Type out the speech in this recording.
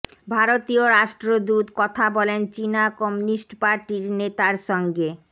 ভারতীয় রাষ্ট্রদূত কথা বলেন চিনা কমিউনিস্ট পার্টির নেতার সঙ্গে